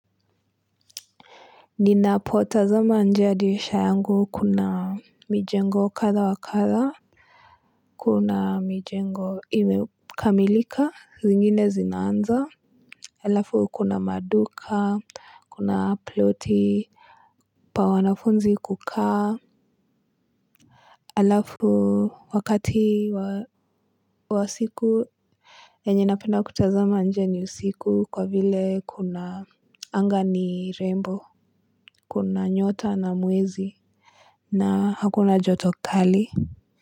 Ninapotazama nje ya dirisha yangu kuna mijengo katha wa katha. Kuna mijengo imekamilika zingine zinaanza halafu kuna maduka kuna ploti. Pa wanafunzi kukaa alafu wakati wa siku yenye napenda kutazama nje ni usiku kwa vile kuna angani rainbow. Kuna nyota na mwezi na hakuna joto kali.